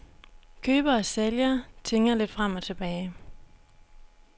Køber og sælger tinger lidt frem og tilbage.